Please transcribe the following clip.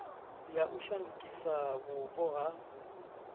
ya u shandukisa vhupo ha